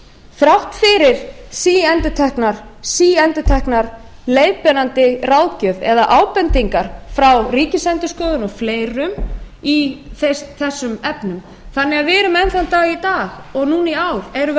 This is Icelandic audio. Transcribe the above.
þrátt fyrir síendurtekna leiðbeinandi ráðgjöf eða ábendingar frá ríkisendurskoðun og fleirum í þessum efnum við erum því enn þann dag i dag og núna í ár erum við